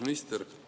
Miks te seda teete?